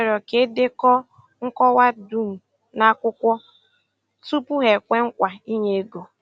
Hà rịọrọ ka e dekọọ nkọwa dum n’akwụkwọ tupu hà ekwe nkwa ị̀nye ego.